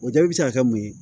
O jaabi bɛ se ka kɛ mun ye